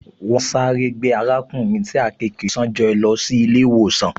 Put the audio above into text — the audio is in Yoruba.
Wọ́n sáré gbé arákùnrin tí àkekèé ṣán jẹ́ lọ sí ilé-ìwòsàn